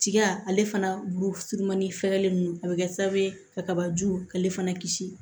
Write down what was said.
Tiga ale fana bulu surumani fɛɛrɛlen nunnu a bɛ kɛ sababu ye ka kaba ju k'ale fana kisi